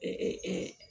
Ee